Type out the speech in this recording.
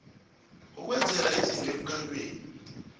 ukwenzela izinto emkhanyweni